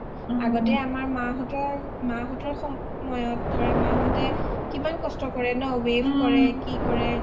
অ অ অ আগতে আমাৰ মা হঁতৰ সময়ত ধৰা মা হতে কিমান কষ্ট কৰে ন weave কৰে কি কৰে